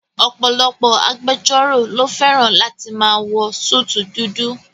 Ọ̀pọ̀lọpọ̀ agbẹjọ́rò ló fẹ́ràn láti máa wọ súùtù dudu